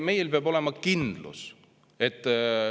Meil peab olema kindlus.